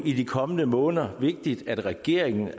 i de kommende måneder vigtigt at regeringen